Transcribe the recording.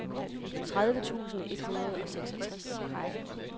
tredive tusind et hundrede og seksogtres